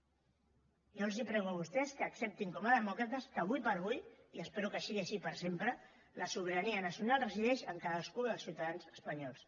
jo els prego a vostès que acceptin com a demòcrates que ara per ara i espero que sigui així per sempre la sobirania nacional resideix en cadascun dels ciutadans espanyols